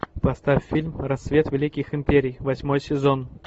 поставь фильм рассвет великих империй восьмой сезон